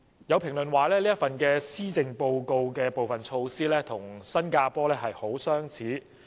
有評論認為，施政報告提出的部分措施，跟新加坡推行的措施相似。